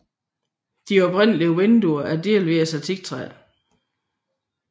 De oprindelige vinduer er delvis af teaktræ